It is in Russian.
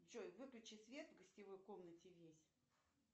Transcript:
джой выключи свет в гостевой комнате весь